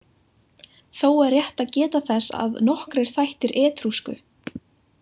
Þó er rétt að geta þess að nokkrir þættir etrúsku.